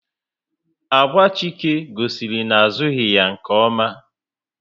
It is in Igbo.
Agwa Chike gosiri na a zughi ya nke oma